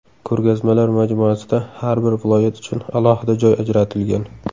Ko‘rgazmalar majmuasida har bir viloyat uchun alohida joy ajratilgan.